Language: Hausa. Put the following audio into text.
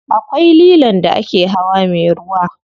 Akwai lilon da ake hawa me ruwa.